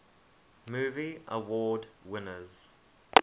movie award winners